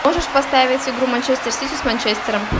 можешь поставить игру манчестер сити с манчестером